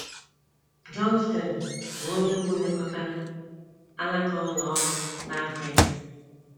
Johnston, bụ́ onye mbụ lekọtara alaka ụlọ ọrụ n’Africa.